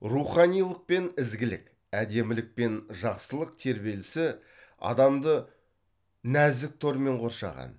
руханилық пен ізгілік әдемілік пен жақсылық тербелісі адамды нәзік тормен қоршаған